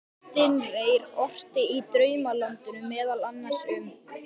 Kristinn Reyr orti í Draumalandinu meðal annars um